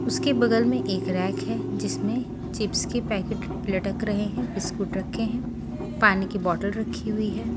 उसके बगल में एक रैक है जिसमें चिप्स के पैकेट लटक रहे हैं बिस्कुट रखे हैं पानी की बोतल रखी हुई है।